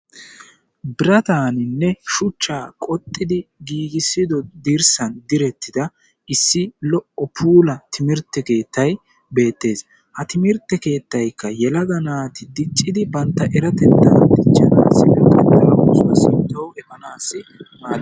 biraattaaninne shuchchaa qoxxidi giigisido diirssan direttida issi lo"o puula timirtte keettay beettees. ha timirtte keettaykka yelaga naati diccidi bantta erattettaa diichchaassikka bantta lo"o oosuwaa sinttawu efaanaasi maaddees.